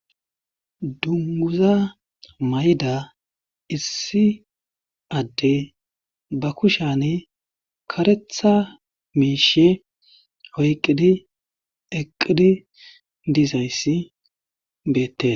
dunguza mayda issi adde ba kushani karetha miishe hoyqqidi eqqidi diizayssi beette